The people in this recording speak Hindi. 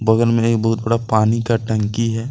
बगल में एक बहुत बड़ा पानी का टंकी है।